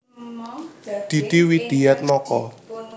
Didi Widiatmoko